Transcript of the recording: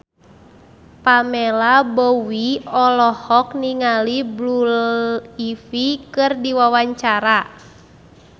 Pamela Bowie olohok ningali Blue Ivy keur diwawancara